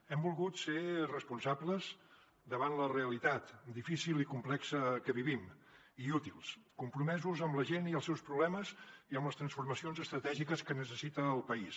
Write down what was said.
hem volgut ser responsables davant la realitat difícil i complexa que vivim i útils i compromesos amb la gent i els seus problemes i amb les transformacions estratègiques que necessita el país